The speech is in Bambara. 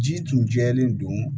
Ji tun jɛlen don